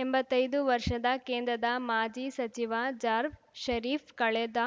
ಎಂಬತ್ತೈದು ವರ್ಷದ ಕೇಂದ್ರದ ಮಾಜಿ ಸಚಿವ ಜಾರ್ಫ ಷರೀಫ್‌ ಕಳೆದ